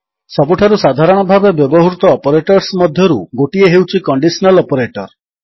ସବୁଠାରୁ ସାଧାରଣ ଭାବେ ବ୍ୟବହୃତ ଅପରେଟର୍ସ ମଧ୍ୟରୁ ଗୋଟିଏ ହେଉଛି କଣ୍ଡିଶନାଲ୍ ଅପରେଟର୍